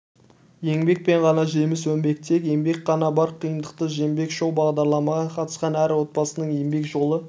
еңбекпен ғана жеміс өнбек тек еңбек қана бар қиындықты жеңбек шоу-бағдарламаға қатысқан әр отбасының еңбек жолы